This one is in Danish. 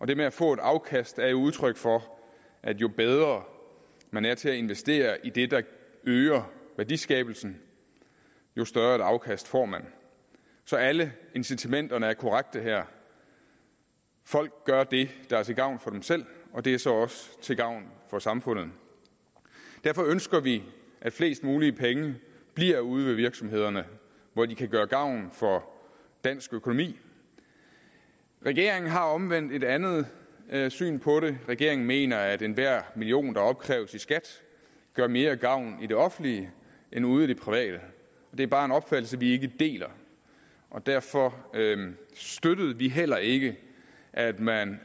det med at få et afkast er jo udtryk for at jo bedre man er til at investere i det der øger værdiskabelsen jo større et afkast får man så alle incitamenterne er korrekte her folk gør det der er til gavn for dem selv og det er så også til gavn for samfundet derfor ønsker vi at flest mulige penge bliver ude i virksomhederne hvor de kan gøre gavn for dansk økonomi regeringen har omvendt et andet andet syn på det regeringen mener at enhver million der opkræves i skat gør mere gavn i det offentlige end ude i det private det er bare en opfattelse vi ikke deler og derfor støttede vi heller ikke at man